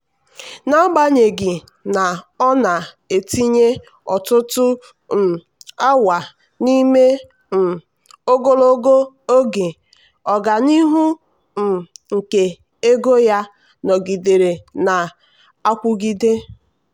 n'agbanyeghị na ọ na-etinye ọtụtụ um awa n'ime um ogologo oge ọganihu um nke ego ya nọgidere na-akwụgide.